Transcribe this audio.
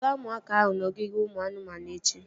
Kpọga ụmụaka ahụ n'ogige ụmụ anụmanụ echi!